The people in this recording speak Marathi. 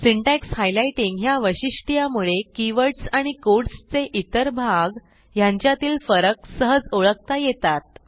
सिंटॅक्स हायलाइटिंग ह्या वैशिष्ट्यामुळे कीवर्डस आणि कोडचे इतर भाग ह्यांच्यातील फरक सहज ओळखता येतात